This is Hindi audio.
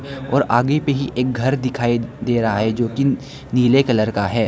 और आगे पे ही एक घर दिखाई दे रहा है जो की नीले कलर का है।